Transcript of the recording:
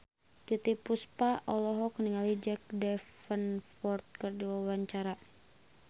Titiek Puspa olohok ningali Jack Davenport keur diwawancara